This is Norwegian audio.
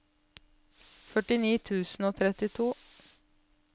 førtini tusen og trettito